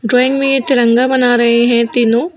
Drawing में तिरंगा बना रहे हैं तीनों।